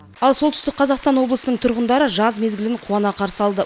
ал солтүстік қазақстан облысының тұрғындары жаз мезгілін қуана қарсы алды